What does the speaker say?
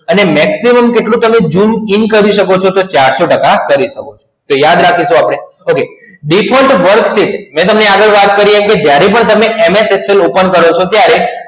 અને maximum કેટલું તમે zoom in કરી સકો તો ચારસો ટકા કરી સકો તો યાદ રાખીસું આપડે okay default word sheet મૈ તમને આગડ વાત કરી એમ